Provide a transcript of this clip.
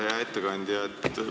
Hea ettekandja!